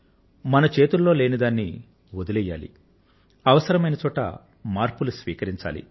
మన చేతుల్లో లేని దాన్ని వదిలెయ్యాలి అవసరమైన చోట మార్పులు స్వీకరించాలి